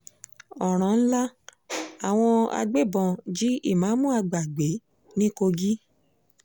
ọ̀ràn ńlá àwọn agbébọn jí ìmáàmù àgbà gbé ní kogi